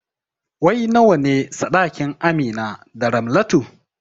Wai nawane saɗakin Amina da Ramlatu?